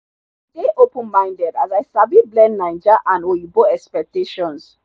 i dey open minded as i sabi blend naija and oyinbo expectations.